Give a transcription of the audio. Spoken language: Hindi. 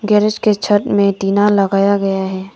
गैरेज की छत में टीना लगाया हुआ है।